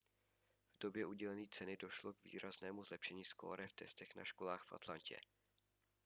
v době udělení ceny došlo k výraznému zlepšení skóre v testech na školách v atlantě